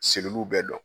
Segiliw bɛɛ dɔn